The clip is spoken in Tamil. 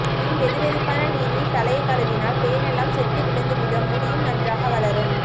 பின் வெதுவெதுப்பான நீரில் தலையை கழுவினால் பேனெல்லாம் செத்து விழுந்து விடும் முடியும் நன்றாக வளரும்